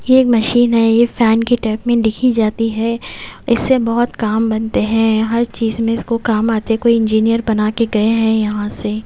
ये एक मशीन है ये फैन के टेप में दिखी जाती है इससे बहुत काम बनते हैं हर चीज में इसको काम आते हैं कोई इंजीनियर बना के गए हैं यहां से--